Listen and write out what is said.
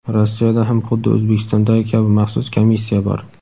Rossiyada ham huddi O‘zbekistondagi kabi maxsus komissiya bor.